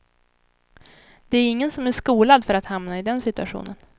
Det är ingen som är skolad för att hamna i den situationen.